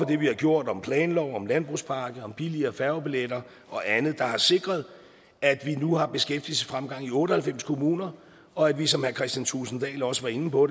det vi har gjort om planlov om landbrugspakke om billigere færgebilletter og andet der har sikret at vi nu har beskæftigelsesfremgang i otte og halvfems kommuner og at vi som herre kristian thulesen dahl også var inde på